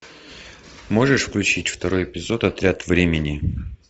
можешь включить второй эпизод отряд времени